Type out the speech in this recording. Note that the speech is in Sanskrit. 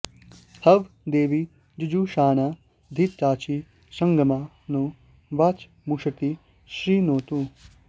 हवं॑ दे॒वी जु॑जुषा॒णा घृ॒ताची॑ श॒ग्मां नो॒ वाच॑मुश॒ती शृ॑णोतु